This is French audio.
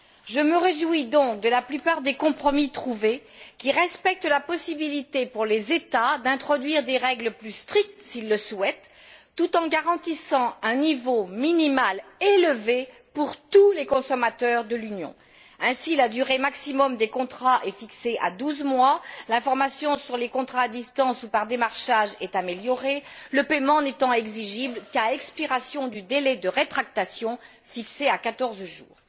Je me réjouis donc de la plupart des compromis trouvés, qui respectent la possibilité, pour les États, d'introduire des règles plus strictes s'ils le souhaitent, tout en garantissant un niveau minimal élevé pour tous les consommateurs de l'Union. Ainsi, la durée maximum des contrats est fixée à douze mois, l'information sur les contrats à distance ou par démarchage est améliorée, le paiement n'étant exigible qu'à expiration du délai de rétractation, fixé à quatorze jours.